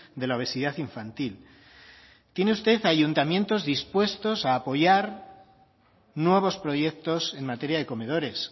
de la obesidad infantil tiene usted a ayuntamientos dispuestos a apoyar nuevos proyectos en materia de comedores